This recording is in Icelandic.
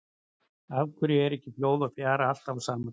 Af hverju er ekki flóð og fjara alltaf á sama tíma?